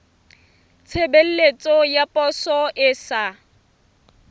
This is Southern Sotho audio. tshebeletso ya poso e sa